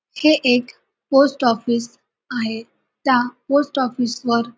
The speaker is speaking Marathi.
हे एक पोस्ट आफिस आहे त्या पोस्ट आफिस वर --